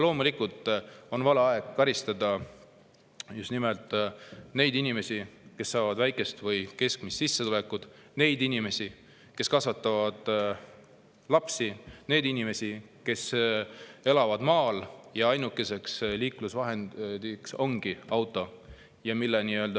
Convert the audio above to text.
Loomulikult on vale aeg karistada just nimelt neid inimesi, kellel on väike või keskmine sissetulek, neid inimesi, kes kasvatavad lapsi, neid inimesi, kes elavad maal ja kelle ainukene liiklusvahend ongi auto.